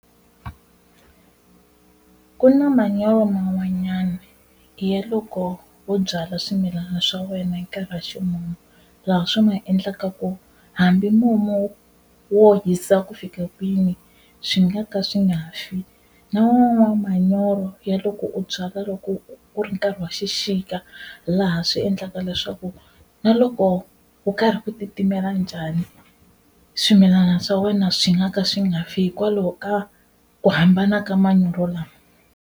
Ku na manyoro man'wanyana ya loko wo byala swimilana swa wena hi nkarhi wa ximumu laha swi ma endlaka ku hambi mumu wo hisa ku fika kwini swi nga ka swi nga fi, na man'wana manyoro ya loko u byala loko ku ri nkarhi wa xixika laha swi endlaka leswaku na loko ku karhi ku titimela njhani swimilana swa wena swi nga ka swi nga fi hikwalaho ka ku hambana ka manyoro lama.